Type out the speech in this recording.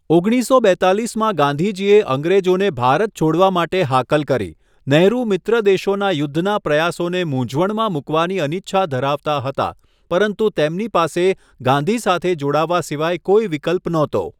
ઓગણીસસો બેત્તાલીસમાં ગાંધીજીએ અંગ્રેજોને ભારત છોડવા માટે હાકલ કરી, નેહરુ મિત્ર દેશોના યુદ્ધના પ્રયાસોને મૂંઝવણમાં મુકવાની અનિચ્છા ધરાવતા હતા, પરંતુ તેમની પાસે ગાંધી સાથે જોડાવા સિવાય કોઈ વિકલ્પ નહોતો.